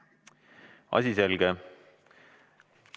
Asi selge.